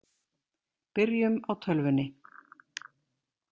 Byrjum á tölvunni.